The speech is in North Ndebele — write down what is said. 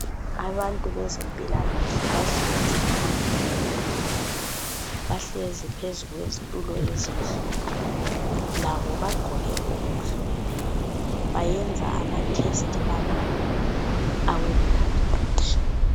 Abantu bezempilakahle bahlezi phandle etendeni, Bahlezi phezu kwezitulo ezimhlophe. Labo bagqoke okumhlophe. Bayenza ama test abantu awe blood pressure.